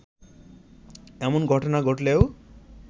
এমন ঘটনা ঘটলেও